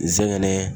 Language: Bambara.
Nsɛgɛn